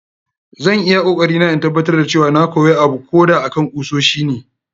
Zan yi iyakoarina in tabbatar cewa na koya abuko da akan kusoshi ne.